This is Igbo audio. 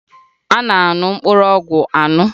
A na-aṅụ mkpụrụ ọgwụ aṅụ